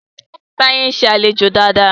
Taye nṣe alejò Dàda.